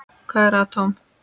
Hvað er atóm?